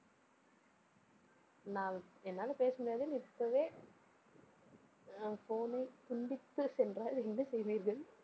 நான், என்னால பேச முடியாதுனு இப்பவே, ஆஹ் phone ஐ துண்டித்துச் சென்றால் என்ன செய்வீர்கள்?